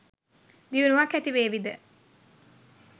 දියුණුවක් ඇතිවේවි ද?